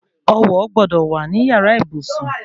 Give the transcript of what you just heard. Ọwọ̀ gbọ́dọ̀ wà ní yàrá ìbùsùn